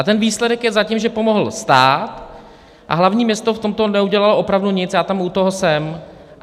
A ten výsledek je zatím, že pomohl stát a hlavní město v tomto neudělalo opravdu nic, já tam u toho jsem.